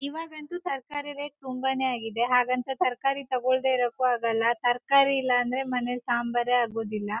ಇವಾಗ ಅಂತೂ ತರಕಾರಿ ರೇಟ್ ತುಂಬಾನೇ ಆಗಿದೆ ಹಾಗಂತ ತರಕಾರಿ ತಗೊಳ್ದೆ ಇರೊಕ್ಕು ಆಗೋಲ್ಲ ತರಕಾರಿ ಇಲ್ಲ ಅಂದ್ರೆ ಮನೆಲ್ ಸಾಂಬಾರೆ ಆಗೋದಿಲ್ಲ .